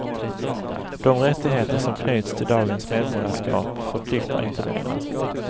De rättigheter som knyts till dagens medborgarskap förpliktar inte längre.